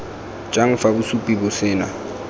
jang fa bosupi bo sena